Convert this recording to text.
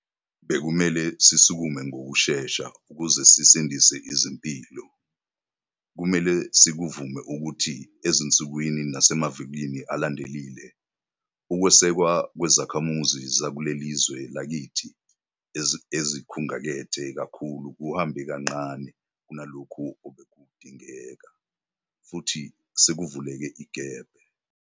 Bekumele sisukume ngokushesha ukuze sisindise izimpilo. Kumele sikuvume ukuthi ezinsukwini nasemavikini alandelile, ukwesekwa kwezakhamuzi zakule lizwe lakithi ezikhungatheke kakhulu kuhambe kancane kunalokho obekudingeka, futhi sekuvuleke igebe.